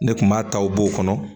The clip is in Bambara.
Ne kun b'a ta u b'o kɔnɔ